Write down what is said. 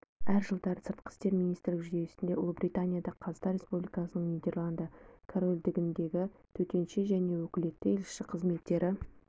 әр жылдары сыртқы істер министрлігі жүйесінде ұлыбританияда қазақстан республикасының нидерланды корольдігіндегі төтенше және өкілетті елшісі қызметтері